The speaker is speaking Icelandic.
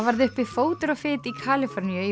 varð uppi fótur og fit í Kaliforníu í